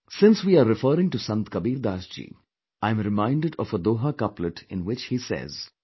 Since we are referring to Sant Kabir Das ji, I am reminded of a doha couplet in which he says,